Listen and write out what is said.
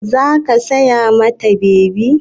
Za ki saya ma ta bebi?